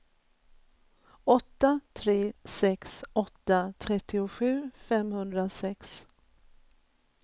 åtta tre sex åtta trettiosju femhundrasex